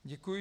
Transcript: Děkuji.